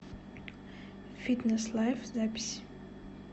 фитнес лайф запись